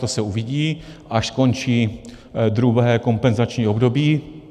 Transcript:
To se uvidí, až skončí druhé kompenzační období.